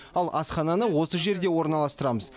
ал асхана осы жерге орналастырамыз